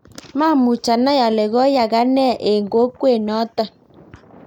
maamuch anai ale koyaaka ne eng kokwet noto